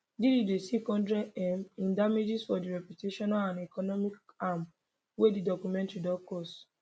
diddy dey seek 100m in damages for di reputational and economic harm wey di documentary don cause